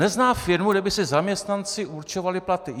Nezná firmu, kde by si zaměstnanci určovali platy.